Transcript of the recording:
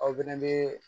Aw fɛnɛ bɛ